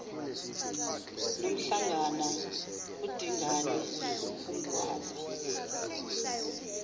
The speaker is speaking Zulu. nomhlangana udingane umgwaza